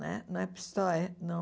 Não é não é Pistoia, não.